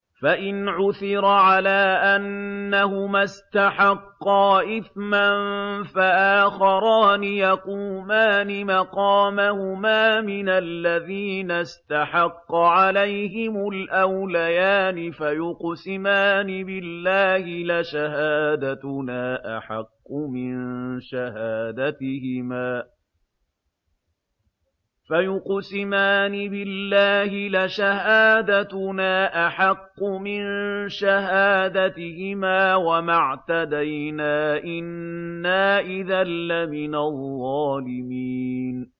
فَإِنْ عُثِرَ عَلَىٰ أَنَّهُمَا اسْتَحَقَّا إِثْمًا فَآخَرَانِ يَقُومَانِ مَقَامَهُمَا مِنَ الَّذِينَ اسْتَحَقَّ عَلَيْهِمُ الْأَوْلَيَانِ فَيُقْسِمَانِ بِاللَّهِ لَشَهَادَتُنَا أَحَقُّ مِن شَهَادَتِهِمَا وَمَا اعْتَدَيْنَا إِنَّا إِذًا لَّمِنَ الظَّالِمِينَ